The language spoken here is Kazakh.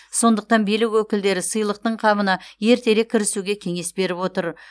сондықтан билік өкілдері сыйлықтың қамына ертерек кірісуге кеңес беріп отыр